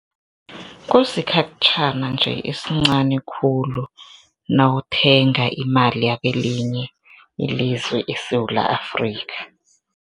Kusikhatjhana nje esincani khulu nawuthenga imali yakelinye ilizwe eSewula Afrika.